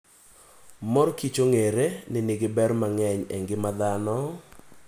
Mor kich ong'ere ni nigi ber mang'eny e ngima dhano.